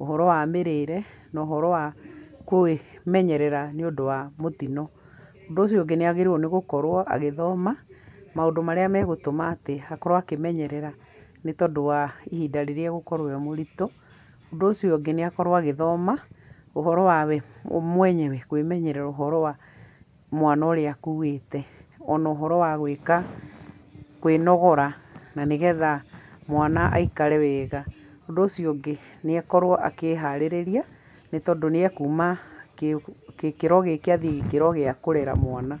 ũhoro wa mĩrĩre, na ũhoro wa kũĩmenyerera nĩũndũ wa mũtino. Ũndũ ũcio ũngĩ nĩagĩrĩirwo nĩgũkorwo agĩthoma, maũndũ marĩa megũtũma atĩ akorwo akĩmenyerera, nĩ tondũ wa ihinda rĩrĩa egũkorwo e mũritũ. Ũndũ ũcio ũngĩ nĩakorwo agĩthoma ũhoro wa we mwenyewe kwĩmenyerera ũhoro wa, mwana ũrĩa akuĩte, o na ũhoro wa gwĩka kwĩnogora nĩgetha mwana aikare wega. Ũndũ ũcio ũngĩ nĩ akorwo akĩharirire nĩ tondũ nĩekuma gĩkĩro gĩkĩ athiĩ gĩkĩro gĩa kũrera mwana.